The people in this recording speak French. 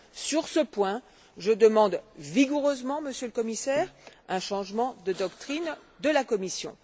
Sur ce point, je demande vigoureusement, Monsieur le Commissaire, un changement de doctrine de la Commission.